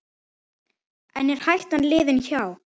En er hættan liðin hjá?